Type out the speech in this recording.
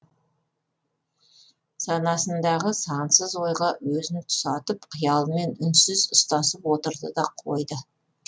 санасындағы сансыз ойға өзін тұсатып қиялымен үнсіз ұстасып отырды да қойды